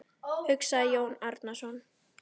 hugsaði Jón Arason.